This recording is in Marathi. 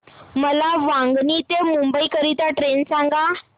मला वांगणी ते मुंबई करीता ट्रेन सांगा